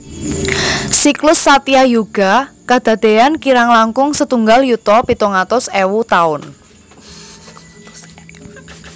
Siklus Satyayuga kadadean kirang langkung setunggal yuta pitung atus ewu taun